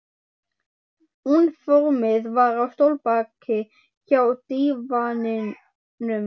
Úniformið var á stólbaki hjá dívaninum.